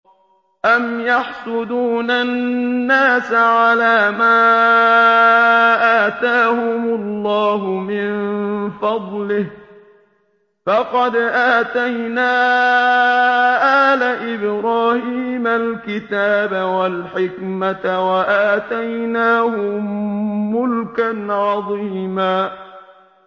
أَمْ يَحْسُدُونَ النَّاسَ عَلَىٰ مَا آتَاهُمُ اللَّهُ مِن فَضْلِهِ ۖ فَقَدْ آتَيْنَا آلَ إِبْرَاهِيمَ الْكِتَابَ وَالْحِكْمَةَ وَآتَيْنَاهُم مُّلْكًا عَظِيمًا